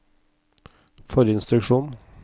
forrige instruksjon